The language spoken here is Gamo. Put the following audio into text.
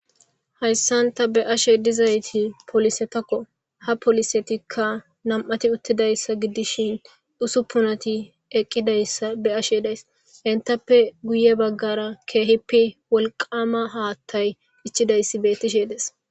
Hayisan ta be ashe dizayisi polisetako ha polisetika na,mati uthidayisa gidishin usupunati eqizayisa be,ashe dayis entappe guye bagara kehippe wolqama hathayi ichidayisi betishe de,ees